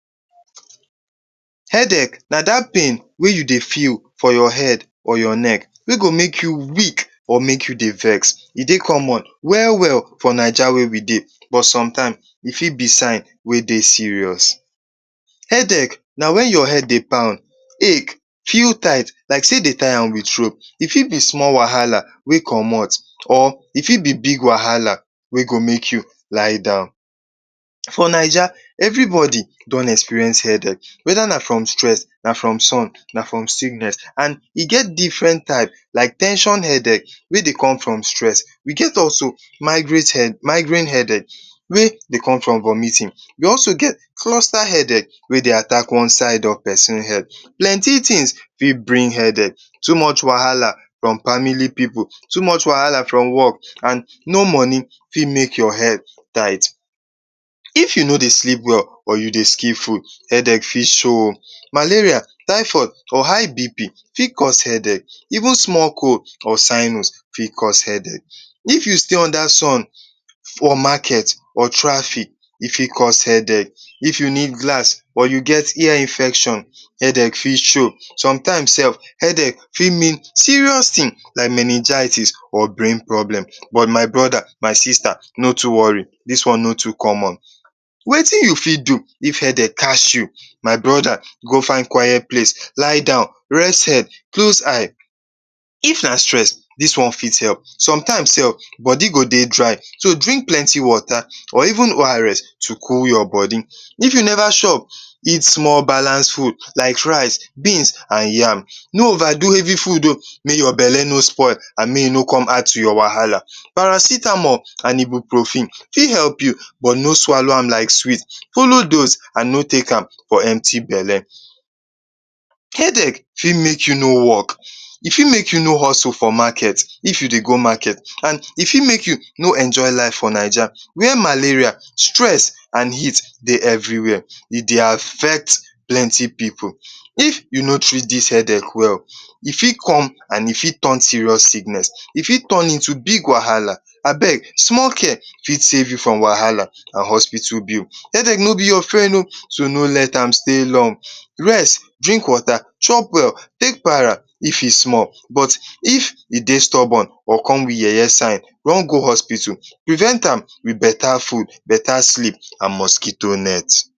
Headache na dat pain wey you dey feel for your head or your neck wey go make you weak or make your dey vex. E dey common well-well for Naija wey we dey, but sometime, e fit be sign wey dey serious. Headache na wen your head dey pound, ache, feel tight like sey dey tie am with rope. E fit be small wahala wey comot or e fit be big wahala wey go make you lie down. For Naija, everybody don experience headache whether na from stress, na from sun, na from sickness, an e get different type like ten sion headache wey dey come from stress, we get also migraine headache wey dey come from vomiting, we also get cluster headache wey dey attack one side of peson head. Plenty tins fit bring headache: Too much wahala from family pipu; Too much wahala from work; an No money, fit make your head tight. If you no dey sleep well or you dey skip food, headache fit show oh. Malaria, typhoid, or high BP fit cause headache, even small cold or fit cause headache. If you stay under sun for market or traffic, e fit cause headache. If you need glass or you get ear infection, headache fit show. Sometimes sef, headache fit mean serious tin like meningitis or brain problem, but my brother, my sister, no too worry, dis one no too common. Wetin you fit do if headache catch you? My brother, go find quiet place, lie down, rest head, close eye. If na stress, dis one fit help. Sometimes sef, body go dey dry. So, drink plenty water or even ORS to cool your body. If you neva chop, eat small balance food like rice, beans, an yam. No overdo heavy food oh, make your belle no spoil, an make e no come add to your wahala. Paracetamol an ibuprofen fit help you, but no swallow am sweet. Follow dose, an no take am for empty belle. Headache fit make you no work; e fit make you no hustle for market if you dey go market, an e fit make you no enjoy life for Naija where malaria, stress, an heat dey everywhere. E dey affect plenty pipu. If you no treat dis headache well, e fit come an e fit turn serious sickness, e fit turn into big wahala. Abeg, small care fit save you from wahala an hospital bill. Headache no be your friend oh, so no let am stay long. Rest, drink water, chop well, take para if e small, but if e dey stubborn or come with yeye sign, run go hospital. Prevent am with beta food, beta sleep, an mosquito net.